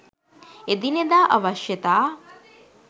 එදිනෙදා අවශ්‍යතා